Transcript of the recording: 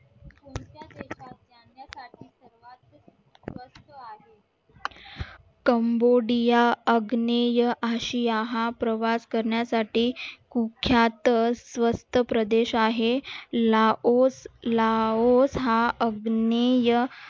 cambodia अग्नेय आशिया हा प्रवास करण्यासाठी मुख्यात स्वस्त प्रदेश आहे हा अग्नेय